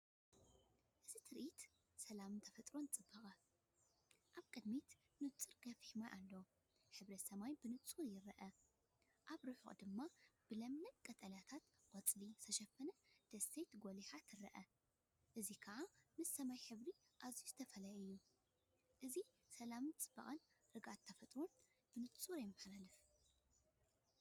እዚ ትርኢት ሰላምን ተፈጥሮኣዊ ጽባቐን! ኣብ ቅድሚት ንጹር ገፊሕ ማይ ኣሎ፣ ሕብሪ ሰማይ ብንጹር ይርአ። ኣብ ርሑቕ ድማ ብለምለም ቀጠልያ ቆጽሊ ዝተሸፈነት ደሴት ጐሊሓ ትርአ፣ እዚ ኸኣ ምስ ሕብሪ ሰማይ ኣዝዩ እተፈልየ እዩ። እዚ ሰላምን ጽባቐን ርግኣት ተፈጥሮን ብንጹር የመሓላልፍ።